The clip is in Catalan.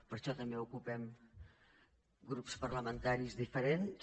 per això també ocupem grups parlamentaris diferents